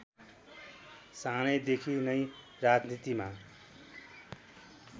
सानैदेखि नै राजनीतिमा